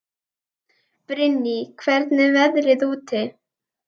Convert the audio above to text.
Brynný, hvernig er veðrið úti?